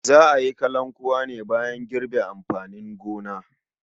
Za a yi kalankuwa ne bayan girbe amfanin gona.